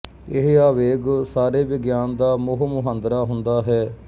ਇਹ ਆਵੇਗ ਸਾਰੇ ਵਿਗਿਆਨ ਦਾ ਮੂੰਹ ਮੁਹਾਂਦਰਾ ਹੁੰਦਾ ਹੈ